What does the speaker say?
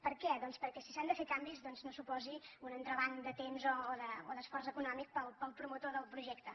per què doncs perquè si s’han de fer canvis no suposi un entrebanc de temps o d’esforç econòmic per al promotor del projecte